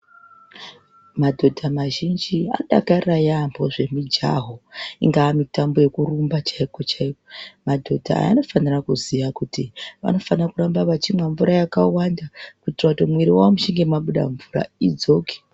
Madhodha mazhinji anoDakarira yaampo zvemujaho ingaa mutambo yokurumba chaikwo chaikwo madhodha aya anofanira kuziya kuti anofanira kuramba echimwe mvura yakawanda kuitira kuti Mwiri mwawo muchinge mwabuda mvura idzoke.